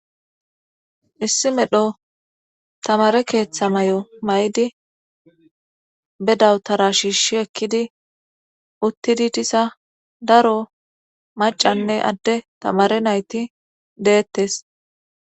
issi medho tamaare keetta mayo mayidi be dawutara shiishshi ekkidi uttidi diza daro maccanne adde tamare na7ithi deettes.